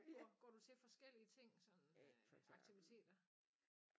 Går går du til forskellige ting sådan øh aktiviteter?